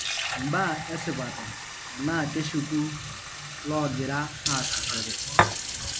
Imbaa esipata, tenaa keshuku loogira aasishore.